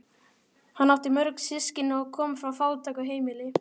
Hann átti mjög mörg systkini og kom frá fátæku heimili.